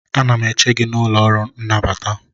Ana m eche gị n'ụlọ ọrụ nnabata